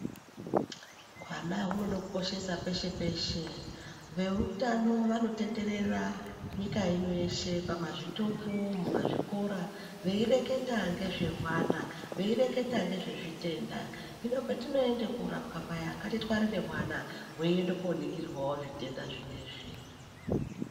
Hwana hunoda kukoshesa peshe-peshe veutano vanotenderera nyika ino yeshe. Pamazvitoro mumazvikora veireketa ngezvehwana, veireketa ngezvezvitenda. Hino petinoende korapwa paya ngatitware hwana hweienda koningirwawo zvitenda zvinezvi.